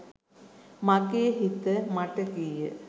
මගේ හිත මට කීය.